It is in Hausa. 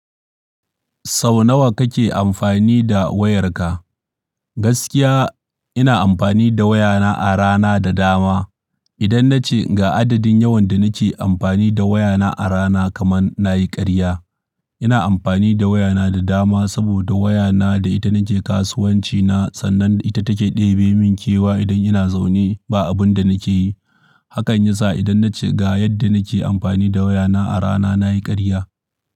Sau nawa kake amfani da wayarka? Gaskiya ina amfani da wayana a rana da dama. Idan nace ga adadin yawan da nake amfani da wayana a rana kaman nayi karya. Ina amfani da wayana da dama saboda wayana da ita nake kasuwancina sannan ita take ɗebe min kewa idan ina zaune ba abunda nake yi. Hakan yasa idan nace ga yadda nake amfani da wayana a rana nayi karya.